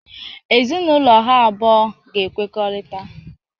Ezinaụlọ ha abụọ ga-ekwekorita